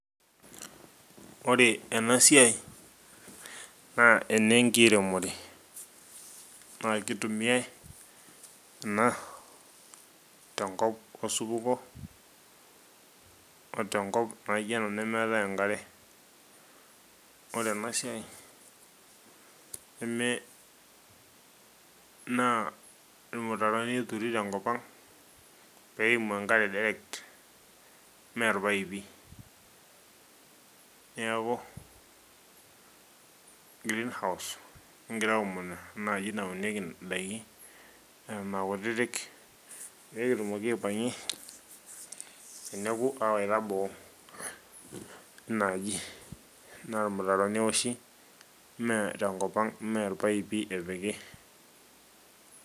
ore ena siai naa enkiremore naa kitumiae ena tenkop osupuko o tenkop naijo ena nemeetae enkare. ore ena siai neme naa irmutaroni eturi te nkop ang. pee eimu enkare direct ime irpaipiniaku grenhouse kigira aomonu ena aji naunieki daiki, eton aa kutitik, pee kitumoki aipangie, teneku aawaita boo ena aji, naa ilmutaroni eoshi ime irpaipi epiki.